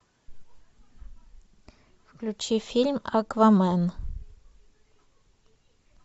включи фильм аквамен